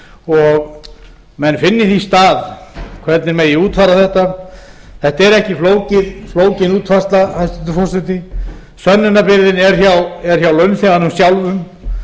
og menn finni því stað hvernig megi útfæra þetta þetta er ekki flókin útfærsla hæstvirtur forseti sönnunarbyrðin er hjá launþeganum sjálfum